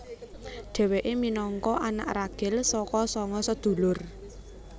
Dhewéke minangka anak ragil saka sanga sedulur